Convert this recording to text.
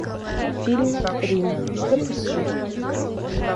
фильм рим запусти